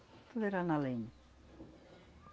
Tudo era na lenha.